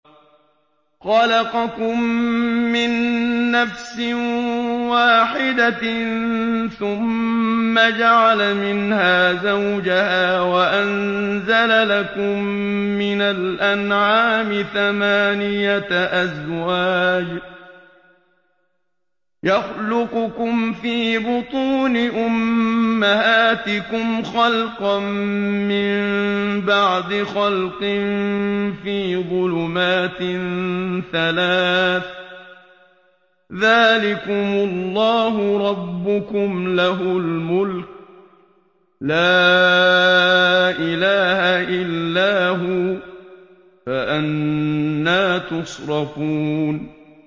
خَلَقَكُم مِّن نَّفْسٍ وَاحِدَةٍ ثُمَّ جَعَلَ مِنْهَا زَوْجَهَا وَأَنزَلَ لَكُم مِّنَ الْأَنْعَامِ ثَمَانِيَةَ أَزْوَاجٍ ۚ يَخْلُقُكُمْ فِي بُطُونِ أُمَّهَاتِكُمْ خَلْقًا مِّن بَعْدِ خَلْقٍ فِي ظُلُمَاتٍ ثَلَاثٍ ۚ ذَٰلِكُمُ اللَّهُ رَبُّكُمْ لَهُ الْمُلْكُ ۖ لَا إِلَٰهَ إِلَّا هُوَ ۖ فَأَنَّىٰ تُصْرَفُونَ